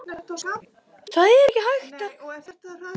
Mannlífið, það á sér furðulega þræði.